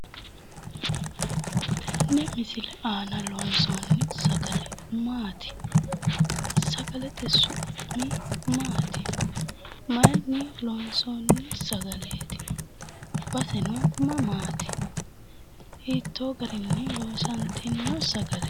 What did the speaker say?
Tenne misile aana loonsoonni sagale maati? Sagalete su'mi maati? Mayiinni loonsoonni sagaleeti? Baseno mamaati? Hiittoo garinni loosantino sagaleeeti?